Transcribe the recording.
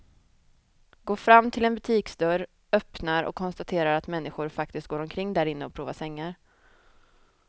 Går fram till en butiksdörr, öppnar och konstaterar att människor faktiskt går omkring därinne och provar sängar.